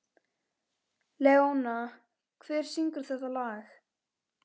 Leóna, hver syngur þetta lag?